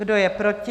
Kdo je proti?